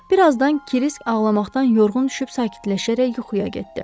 Bir azdan Krisk ağlamaqdan yorğun düşüb sakitləşərək yuxuya getdi.